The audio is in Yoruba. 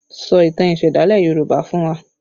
Sọ ìtàn ìsẹ̀dálẹ̀ Yoruba fún wa!